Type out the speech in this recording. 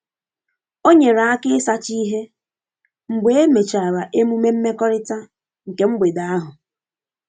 O nyere aka ịsacha ihe mgbe emechara emume mmekọrịta nke mgbede ahụ.